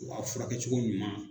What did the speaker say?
U ka furakɛcogo ɲuman